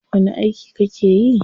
Wani aiki kake yi?